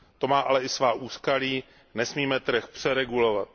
To má ale i svá úskalí, nesmíme trh přeregulovat.